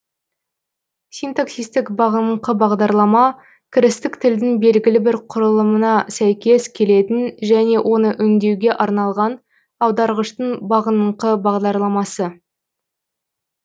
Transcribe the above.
синтаксистік бағыныңқы бағдарлама кірістік тілдің белгілі бір құралымына сәйкес келетін және оны өңдеуге арналған аударғыштың бағыныңқы бағдарламасы